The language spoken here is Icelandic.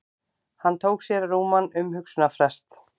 Hann tók sér rúman umhugsunarfrest.